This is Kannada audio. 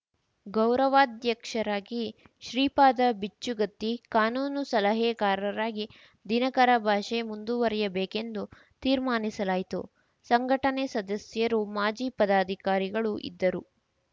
ಗೌರವಾಧ್ಯಕ್ಷರಾಗಿ ಶ್ರೀಪಾದ ಬಿಚ್ಚುಗತ್ತಿ ಕಾನೂನು ಸಲಹೆಗಾರರಾಗಿ ದಿನಕರ ಭಾಷೆ ಮುಂದುವರಿಯಬೇಕೆಂದು ತೀರ್ಮಾನಿಸಲಾಯಿತು ಸಂಘಟನೆ ಸದಸ್ಯರು ಮಾಜಿ ಪದಾಧಿಕಾರಿಗಳು ಇದ್ದರು